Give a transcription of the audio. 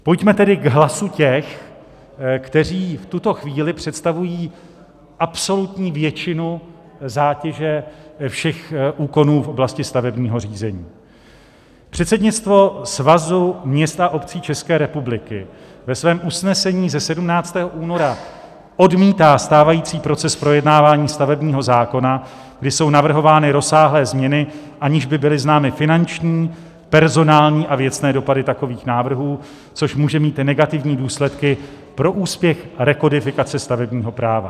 Pojďme tedy k hlasu těch, kteří v tuto chvíli představují absolutní většinu zátěže všech úkonů v oblasti stavebního řízení: "Předsednictvo Svazu měst a obcí České republiky ve svém usnesení ze 17. února odmítá stávající proces projednávání stavebního zákona, kdy jsou navrhovány rozsáhlé změny, aniž by byly známy finanční, personální a věcné dopady takových návrhů, což může mít negativní důsledky pro úspěch rekodifikace stavebního práva.